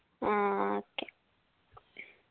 ആ okay